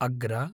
अग्र